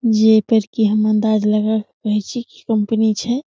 जे पर की हम अंदाज लगा के कहे छी कंपनी छै।